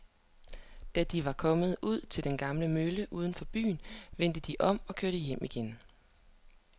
Da de var kommet ud til den gamle mølle uden for byen, vendte de om og kørte hjem igen.